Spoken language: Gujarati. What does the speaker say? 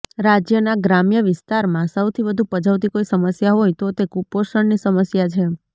રાજ્યના ગ્રામ્ય વિસ્તારમાં સૌથી વધુ પજવતી કોઈ સમસ્યા હોય તો તે કુપોષણની સમસ્યા છે